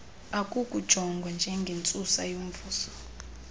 akukujongwa ngengentsusa yomvuzo